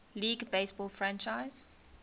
league baseball franchise